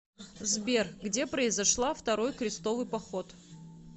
сбер где произошла второй крестовый поход